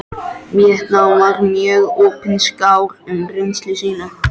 Víetnam og var mjög opinskár um reynslu sína.